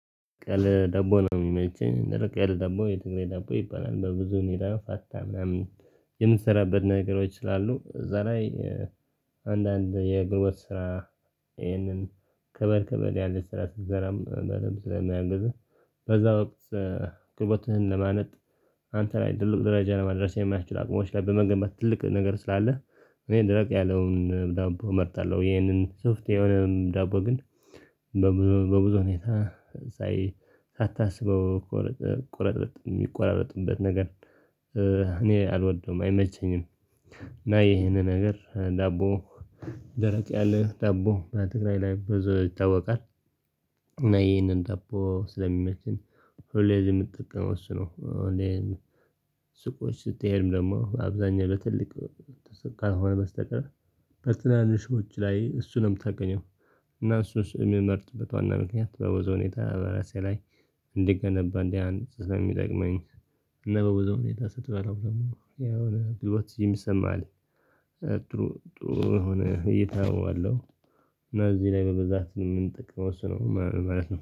ደረቅ ያለ ዳቦ ነው የሚመቸኝ ደረቅ ያለ ደቦ የትግሬ ደቦ ይባላል በብዙ ሁኔታ ፓስታ ምናምን የምንሰራበት ነገሮች ስላሉ እዛ ላይ አንዳንድ የግንቦወት ስራ ይሄንን ከበድ ከበድ ያለ ስራ ስትሰራም በደንብ ስለማያግዝህ በዛ ወቅት ጉልበትህን ለማለት አንተ ላይ ትልቅ ደረጃ ለመድረስ የማያስችል አቅሞች ላይ በመገንባት ትልቅ ነገር ስላለህ። እኔ ደረቅ ያለውን ዳቦ እመርጣለሁ ይሄንን ሶፍት የሆነ ዳቦ ግን በብዙ በብዙ ሁኔታ ሳታስበው ቁረጥረጥ የሚቆራረጥበት ነገር እኔ አልወደውም አይመቸኝም። ና ይሄንን ነገር ዳቦ ደረቅ ያለ ዳቦ በትግራይ ላይ ብዙ ይታወቃል። እና ይሄንን ዳቦ ስለሚመችን ሁሌ ምጠቀመው እሱ ነው። ሱቆች ስትሄድም ደግሞ አብዛኛው ለትልቅ ካልሆነ በስተቀር በትናንሾች ላይ እሱንም ታገኘው እና እሱስ የምመርጥበት ዋና ምክንያት በብዙው ሁኔታ በራሴዬ ላይ እንድገነባ እንዲህ አንድ ስለሚጠቅመኝ እና በብዘው ሁኔታ ስትበላው ደግሞ ያው ሂወት የሚሰማ አለ ይሰማል ጥሩ ጥሩ ሆነህ እይታ አየዋለሁ። እና እዚህ ላይ በብዛት የምንጠቀመው እሱ ነው ማለት ነው